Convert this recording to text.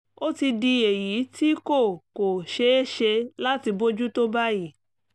ó ti di èyí tí kò kò ṣeé ṣe láti bójú tó báyìí